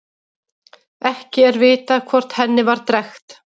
Ekki er vitað hvort henni var drekkt.